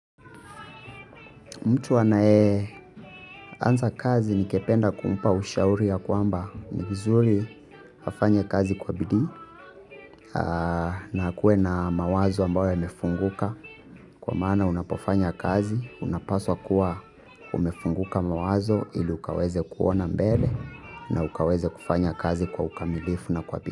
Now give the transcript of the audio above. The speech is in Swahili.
Mtu anayeanza kazi ningependa kumpa ushauri ya kwamba ni vizuri afanye kazi kwa bidii na akuwe na mawazo ambayo yamefunguka kwa maana unapofanya kazi unapaswa kuwa umefunguka mawazo ili ukaweze kuona mbele na ukaweze kufanya kazi kwa ukamilifu na kwa bidii.